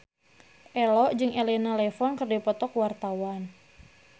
Ello jeung Elena Levon keur dipoto ku wartawan